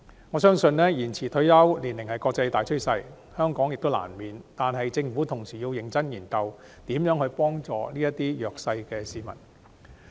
我相信延遲退休年齡是國際大趨勢，香港亦在所難免，但政府同時要認真研究如何協助這些弱勢市民。